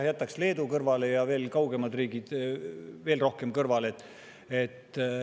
Ma jätaks Leedu kõrvale ja veel kaugemad riigid veel rohkem kõrvale.